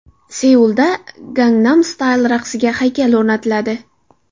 Seulda Gangnam Style raqsiga haykal o‘rnatiladi .